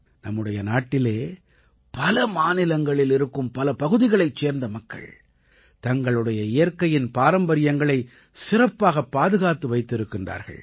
நம்முடைய நாட்டிலே பல மாநிலங்களில் இருக்கும் பல பகுதிகளைச் சேர்ந்த மக்கள் தங்களுடைய இயற்கையின் பாரம்பரியங்களை சிறப்பாகப் பாதுகாத்து வைத்திருக்கின்றார்கள்